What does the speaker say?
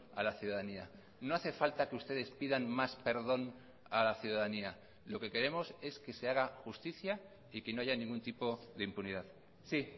a la ciudadanía no hace falta que ustedes pidan más perdón a la ciudadanía lo que queremos es que se haga justicia y que no haya ningún tipo de impunidad sí